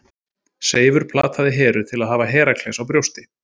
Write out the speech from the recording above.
Seifur plataði Heru til að hafa Herakles á brjósti.